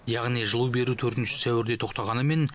яғни жылу беру төртінші сәуірде тоқтағанымен